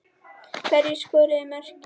Hverjir skoruðu mörkin?